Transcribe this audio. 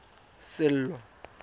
sello